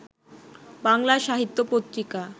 বাংলা সাহিত্য পত্রিকা